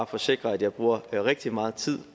forsikre at jeg bruger rigtig meget tid